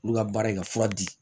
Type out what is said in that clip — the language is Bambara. Olu ka baara ye ka fura di